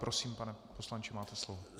Prosím, pane poslanče, máte slovo.